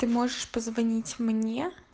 ты можешь позвонить мне